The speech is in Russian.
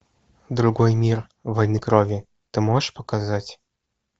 другой мир войны крови ты можешь показать